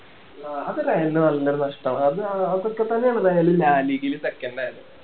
ആഹ് അത് റയലിന് നല്ലൊരു നഷ്ടവാ അത് അതൊക്കെ തന്നെ ആണ് റയല് ആഹ് league ല് second ആയത്